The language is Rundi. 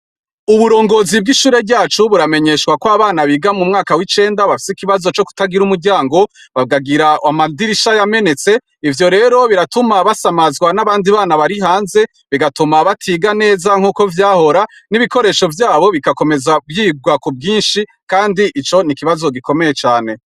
Uburugozi bw'ishure ryacu buramenyeshwa ko abana biga mu mwaka w'icenda bafise ikibazo co kutagira umuryango bakagira amadirisha yamenetse ivyo rero biratuma basamazwa nabandi bana bari hanze bagatuma batiga neza nkuko vyahora, n'ibikoresho vyabo bigatuma vyabwa kubwinshi kandi ico nikibazo gikomeye cane.